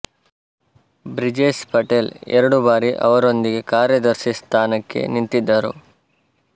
ಬ್ರಿಜೇಶ್ ಪಟೇಲ್ ಎರಡೂ ಬಾರಿ ಅವರೊಂದಿಗೆ ಕಾರ್ಯದರ್ಶಿ ಸ್ಥಾನಕ್ಕೆ ನಿಂತಿದ್ದರು